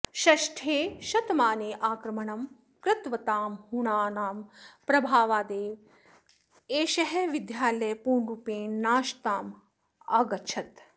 षष्ठे शतमाने आक्रमणं कृतवतां हूणानां प्रभावादेव एषः विद्यालयः पूर्णरुपेण नाशताम् अगच्छत्